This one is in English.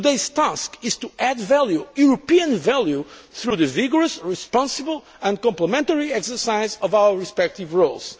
powers. Today's task is to add value European value through the vigorous, responsible and complementary exercise of our respective